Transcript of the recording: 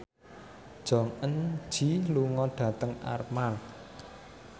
Jong Eun Ji lunga dhateng Armargh